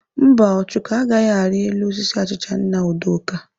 Mba, Ọchụko agaghị ari elu osisi achicha nna Udoka?